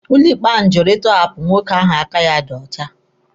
Ụlọ ikpe ahụ jụrụ ịtọhapụ nwoke ahụ aka ya dị ọcha.